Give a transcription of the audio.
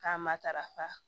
K'a matarafa